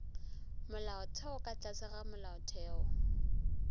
molaotheo ka tlase ga molaotheo